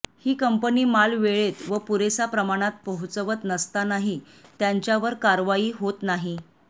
ही company माल वेळेत व पुरेसा प्रमाणात पोहोचवत नसतानाही त्यांच्यावर कारवाई होत नाही